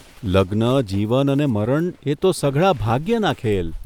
લગ્ન, જીવન અને મરણ એ તો સઘળા ભાગ્યના ખેલ !